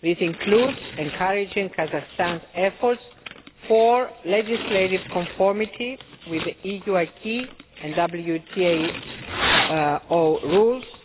This includes encouraging Kazakhstan's efforts for legislative conformity with the EU acquis and WTO rules.